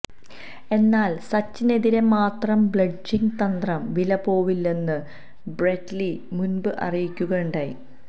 എന്നാല് സച്ചിനെതിരെ മാത്രം സ്ലെഡ്ജിങ് തന്ത്രം വിലപോവില്ലെന്ന് ബ്രെറ്റ് ലീ മുന്പ് അറിയിക്കുകയുണ്ടായി